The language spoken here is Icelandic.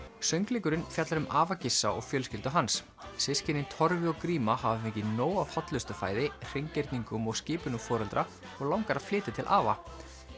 söngleikurinn fjallar um afa Gissa og fjölskyldu hans systkinin Torfi og gríma hafa fengið nóg af hollustufæði hreingerningum og skipunum foreldra og langar að flytja til afa